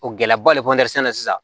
O gɛlɛyaba le sisan